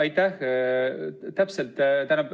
Aitäh!